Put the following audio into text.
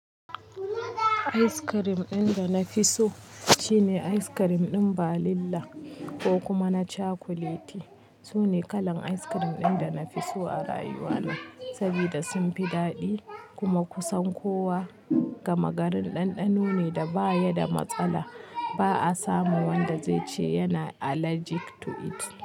Ais kirim ɗin da na fi so shine ais kirim ɗin balila ko kuma na cakuleti. Su ne kalan ais kirim ɗin da na fi so a rayuwana saboda sun fi daɗi kuma kusan kowa gama garin ɗanɗano ne da baya da matsala. Ba a samu wanda zai ce yana allergic to it.